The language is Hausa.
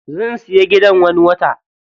Zan siya gidan wani watan.